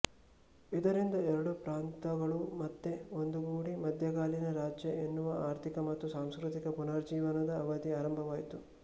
ಇದರಿಂದ ಎರಡು ಪ್ರಾಂತಗಳು ಮತ್ತೆ ಒಂದುಗೂಡಿ ಮಧ್ಯಕಾಲೀನ ರಾಜ್ಯ ಎನ್ನುವ ಆರ್ಥಿಕ ಮತ್ತು ಸಾಂಸ್ಕೃತಿಕ ಪುನರುಜ್ಜೀವನದ ಅವಧಿ ಆರಂಭವಾಯಿತು